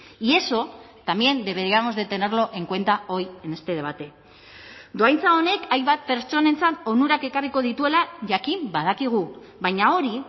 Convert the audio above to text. y eso también deberíamos de tenerlo en cuenta hoy en este debate dohaintza honek hainbat pertsonentzat onurak ekarriko dituela jakin badakigu baina hori